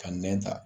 Ka nɛn ta